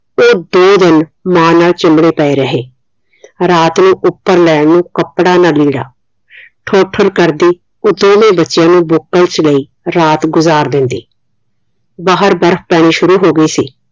ਉਹ ਦੋ ਦਿਨ ਮਾਂ ਨਾਲ ਚਿਮੜੇ ਪਏ ਰਹੇ ਰਾਤ ਨੂੰ ਉਪਰ ਲੈਣ ਨੂੰ ਕੱਪੜਾ ਨਾ ਲੀੜਾ ਠੋਠਰ ਕਰਦੀ ਉਹ ਦੋਵੇਂ ਬੱਚਿਆਂ ਨੂੰ ਬੁਕਲ ਚ ਲਈ ਰਾਤ ਗੁਜ਼ਾਰ ਦਿੰਦੀ। ਬਾਹਰ ਬਰਫ ਪੈਣੀ ਸ਼ੁਰੂ ਹੋ ਗਈ ਸੀ।